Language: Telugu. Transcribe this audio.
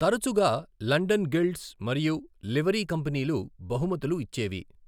తరచుగా లండన్ గిల్డ్స్ మరియు లివరీ కంపెనీలు బహుమతులు ఇచ్చేవి.